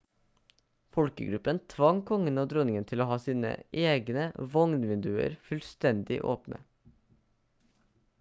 folkegruppen tvang kongen og dronningen til å ha sine vogn-vinduer fullstendig åpne